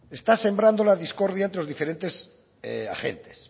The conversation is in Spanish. está sembrando la discordia entre los diferentes agentes